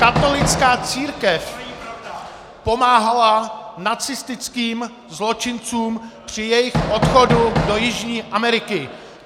Katolická církev pomáhala nacistickým zločincům při jejich odchodu do Jižní Ameriky!